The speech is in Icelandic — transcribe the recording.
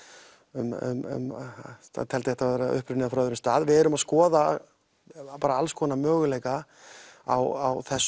um hann teldi þetta vera upprunið frá öðrum stað við erum að skoða alls konar möguleika á þessu